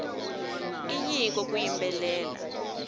i nyiko ku yimbelela